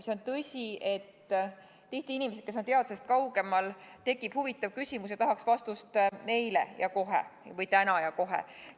See on tõsi, et tihti tekib inimestel, kes on teadusest kaugemal, mõni huvitav küsimus ja nad tahaksid vastuseid kohe, täna ja kohe.